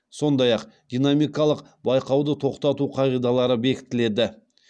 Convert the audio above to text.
сондай ақ динамикалық байқауды тоқтату қағидалары бекітіледі